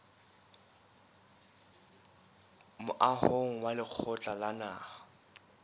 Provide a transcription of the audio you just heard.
moahong wa lekgotla la naha